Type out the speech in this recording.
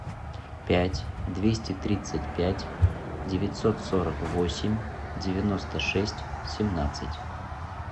пять двести тридцать пять девятьсот сорок восемь девяносто шесть семнадцать